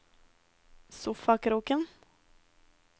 sofakroken